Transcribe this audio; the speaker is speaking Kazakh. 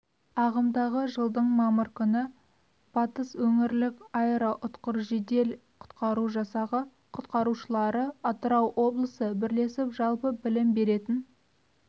ағымдағы жылдың мамыр күні батыс өңірлік аэроұтқыр жедел-құтқару жасағы құтқарушылары атырау облысы бірлесіп жалпы білім беретін